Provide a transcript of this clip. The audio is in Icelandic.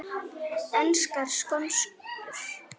Enskar skonsur